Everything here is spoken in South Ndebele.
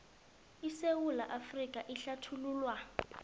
isewula afrika ehlathululwa